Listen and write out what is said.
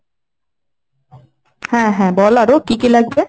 হ্যাঁ হ্যাঁ বল আরো কি কি লাগবে?